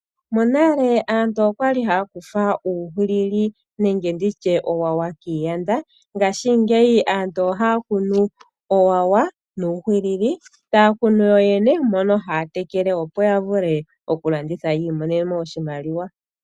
Monale aantu okwa li haya kutha uuhwilili nende nditye oowowa kiiyanda. Ngashingeyi aantu ohaya kunu oowowa nuuhwilili, taya kunu yo yene mono haya tekele opo ya vule okulanditha. Yi imonene mo oshimaliwa.